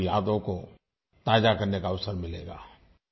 उनकी यादों को ताज़ा करने का अवसर मिलेगा